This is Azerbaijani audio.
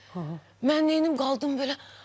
Mən neyləyim, qaldım belə.